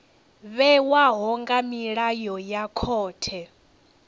vhewaho nga milayo ya khothe